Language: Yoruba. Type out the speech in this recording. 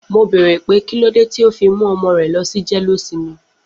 Mo bèrè pé kílódé tí o fi mú ọmọ rẹ lọsi jeleosinmi.